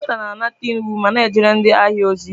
Ndị waita na-anata iwu ma na-ejere ndị ahịa ozi.